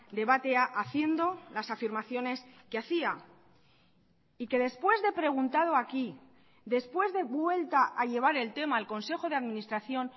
debatea haciendo las afirmaciones que hacía y que después de preguntado aquí después de vuelta a llevar el tema al consejo de administración